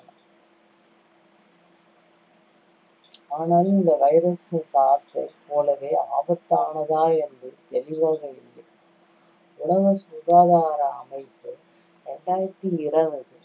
ஆனால் இந்த virus SARS ஐ போலவே ஆபத்தானதா என்று தெளிவாக இல்லை உலக சுகாதார அமைப்பு இரண்டாயிரத்தி இருவது